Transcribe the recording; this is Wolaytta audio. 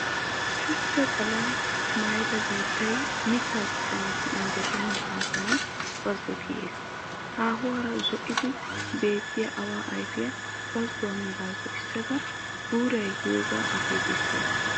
Shuchcha xallaa maayida biittay mittaa dichchaassi injjetenna gaasuwan bazzo kiyiis. Haahuwan zo"ada beettiya awaa ayfiya bazzuwa mera zo"issada guuray yiyogaa akeekissawusu.